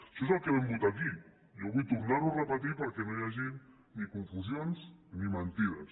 això és el que vam votar aquí jo vull tornar ho a repetir perquè no hi hagin ni confusions ni mentides